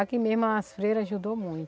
Aqui mesmo as freiras ajudou